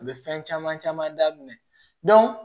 A bɛ fɛn caman caman daminɛ